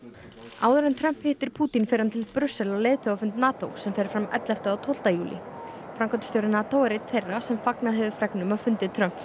áður en Trump hittir Pútín fer hann til Brussel á leiðtogafund NATO sem fer fram ellefta og tólfta júlí framkvæmdastjóri NATO er einn þeirra sem fagnað hafa fregnum af fundi Trumps og